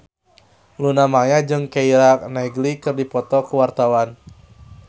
Luna Maya jeung Keira Knightley keur dipoto ku wartawan